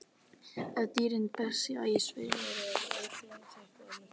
Ef dýrin þjást af svefnleysi er líklegasta skýringin einhver einkenni frá taugakerfi.